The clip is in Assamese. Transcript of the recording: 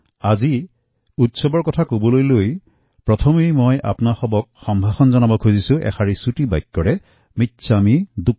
আজি মই যিহেতু উৎসৱৰ কথা কৈছো সেয়েহে প্ৰথমেই মই আপনালোকৰ মিচ্ছামিদুক্কড়ম বুলি কওঁ